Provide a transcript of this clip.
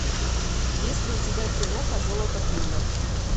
есть ли у тебя киноха золото флинна